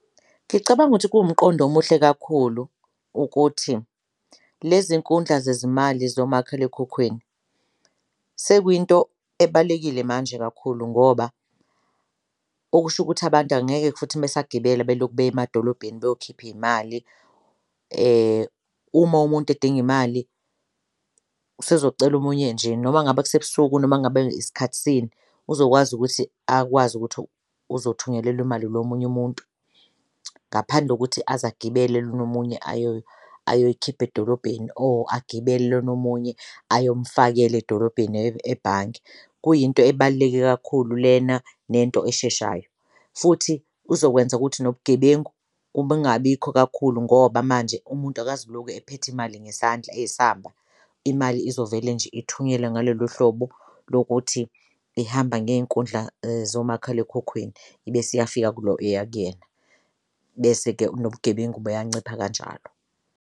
Ngicabanga ukuthi kuwumqondo omuhle kakhulu ukuthi lezi nkundla zezimali zomakhalekhukhwini sekuyinto ebalekile manje kakhulu ngoba okusho ukuthi abantu angeke futhi besagibela belokhu beya emadolobheni beyokhipha iy'mali. Uma umuntu edinga imali usezocela omunye nje noma ngabe kusebusuku noma ngabe isikhathi sini uzokwazi ukuthi akwazi ukuthi uzothunyelelwa imali ilo omunye umuntu ngaphandle kokuthi aze agibele lona omunye ayo ayoyikhipha edolobheni or agibele lona omunye ayomfakela edolobheni ebhange kuyinto ebaluleke kakhulu lena nento esheshayo. Futhi uzokwenza ukuthi nobugebengu kungabikho kakhulu ngoba manje umuntu akazukuloku ephethe imali ngesandla eyisamba, imali izovele nje ithunyelwe ngalolo hlobo lokuthi ihamba ngey'nkundla zomakhalekhukhwini ibese iyafika kulo eya kuyena bese-ke nobugebengu buyancipha kanjalo.